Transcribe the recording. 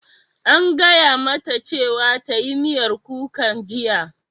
An gaya mata cewa ta yi miyar kukan jiya!